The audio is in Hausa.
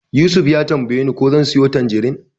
Yusuf ya tambayeni ko zan siyo tanjirin.